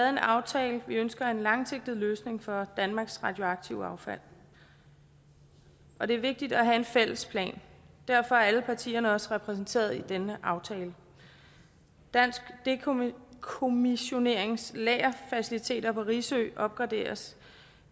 en aftale vi ønsker en langsigtet løsning for danmarks radioaktive affald og det er vigtigt at have en fælles plan derfor er alle partierne også repræsenteret i denne aftale dansk dekommissionerings lagerfaciliteter på risø opgraderes